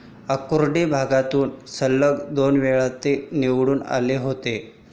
आकुर्डी भागातून सलग दोनवेळा ते निवडून आले होते.